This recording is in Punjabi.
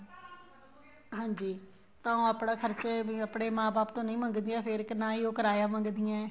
ਹਾਂਜੀ ਤਾਂ ਉਹ ਆਪਣੇ ਖਰਚੇ ਵੀ ਆਪਣੇ ਮਾਂ ਬਾਪ ਤੋ ਨਹੀਂ ਮੰਗਦੀਆਂ ਫ਼ੇਰ ਨਾ ਹੀ ਉਹ ਕਿਰਾਇਆ ਮੰਗਦੀਆਂ ਏ